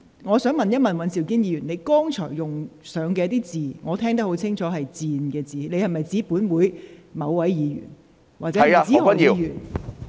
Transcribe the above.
我想問尹兆堅議員，你在剛才發言中使用了一個字，我聽得很清楚是"賤"，你指的是否本會某位議員？